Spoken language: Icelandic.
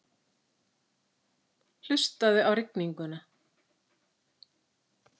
Hlustaðu á rigninguna.